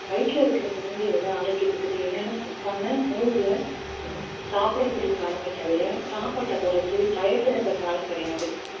வயிற்றில் இருக்கிற குழந்தையோட ஆரோக்கியத்துக்குத் தேவையான சத்தான உணவுகளை சாப்பிடக்கூடிய காலமே தவிர சாப்பாட்டை குறைச்சு diet ல இருக்கிற காலம் கிடையாது